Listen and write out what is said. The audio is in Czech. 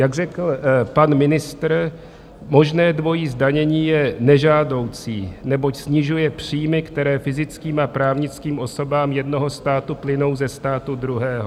Jak řekl pan ministr, možné dvojí zdanění je nežádoucí, neboť snižuje příjmy, které fyzickým a právnickým osobám jednoho státu plynou ze státu druhého.